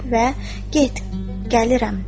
Və get gəlirəm dedi.